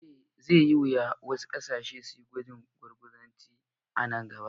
Zai yiwu wasu ƙasashe su yi gwajin gurguzanci a nan gaba.